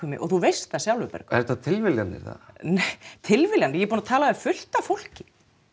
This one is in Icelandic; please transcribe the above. mig og þú veist það sjálfur Bergur eru þetta tilviljanir eða nei tilviljanir ég er búin að tala við fullt af fólki